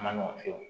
A ma nɔgɔn fiyewu